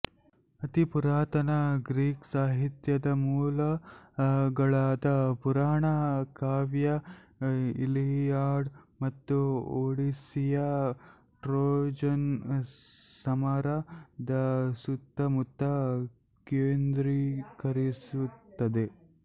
ಅತೀ ಪುರಾತನ ಗ್ರೀಕ್ ಸಾಹಿತ್ಯದ ಮೂಲಗಳಾದ ಪುರಾಣ ಕಾವ್ಯ ಇಲೀಯಾದ್ ಮತ್ತು ಓಡಿಸ್ಸೀಯ್ ಟ್ರೋಜಾನ್ ಸಮರ ದ ಸುತ್ತಮುತ್ತ ಕೇಂದ್ರೀಕರಿಸುತ್ತದೆ